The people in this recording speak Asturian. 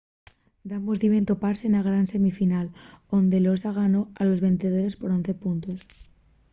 dambos diben topase na gran semifinal onde'l noosa ganó a los vencedores por 11 puntos